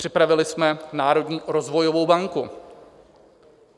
Připravili jsme Národní rozvojovou banku.